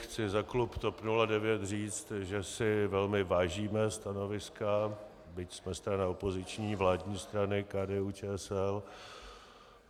Chci za klub TOP 09 říct, že si velmi vážíme stanoviska, byť jsme strana opoziční, vládní strany KDU-ČSL.